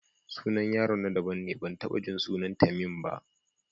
Sunan yaron na daban ne, ban taɓa jin sunan Tamim ba.